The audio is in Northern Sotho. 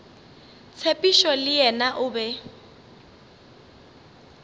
tshepišo le yena o be